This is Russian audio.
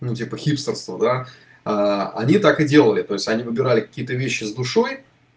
ну типа хипстерства да они так и делай то есть они выбирали какие то вещи с душой